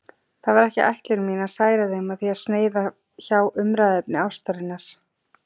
Það var ekki ætlun mín að særa þig með því að sneiða hjá umræðuefni ástarinnar.